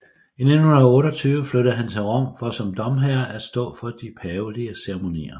I 1928 flyttede han til Rom for som domherre at stå for de pavelige ceremonier